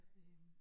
Øh